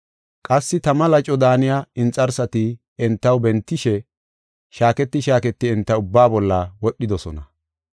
Qassi tama laco daaniya inxarsati entaw bentishe, shaaketi shaaketi enta ubbaa bolla wodhidosona.